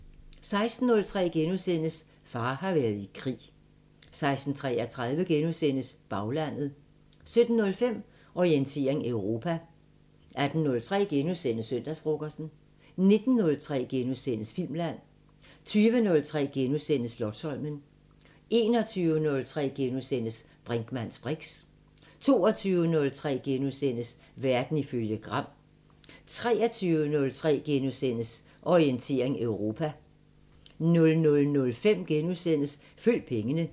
16:03: Far har været i krig * 16:33: Baglandet * 17:05: Orientering Europa 18:03: Søndagsfrokosten * 19:03: Filmland * 20:03: Slotsholmen * 21:03: Brinkmanns briks * 22:03: Verden ifølge Gram * 23:03: Orientering Europa * 00:05: Følg pengene *